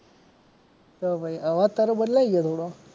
તો પછી અવાજ તારો બદલાઈ ગયો થોડો.